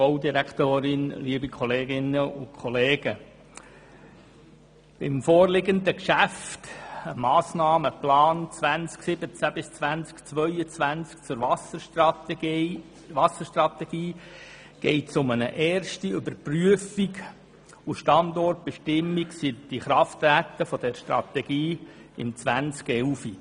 der BaK. Im vorliegenden Geschäft zur Wasserstrategie geht es um die erste Überprüfung und Standortbestimmung seit Inkrafttreten dieser Strategie im Jahr 2011.